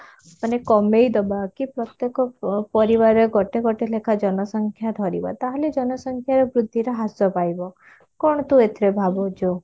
ମାନେ କମେଇଦବା କି ପ୍ରତ୍ୟକ ଅ ପରିବାର ଗୋଟେ ଗୋଟେ ଲେଖା ଜନସଂଖ୍ୟା ଧରିବା ତାହେଲେ ଜନସଂଖ୍ୟା ବୃଦ୍ଧିର ହ୍ରାସ ପାଇବ କଣ ତୁ ଏଥିରେ ଭାବୁଛୁ?